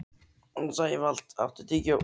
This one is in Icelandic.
Sævald, áttu tyggjó?